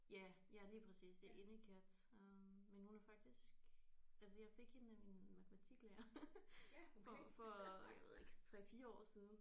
Ja ja lige præcis det er indekat øh men hun er faktisk altså jeg fik hende af min matematiklærer for for jeg ved ikke 3 4 år siden